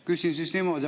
Küsin siis niimoodi.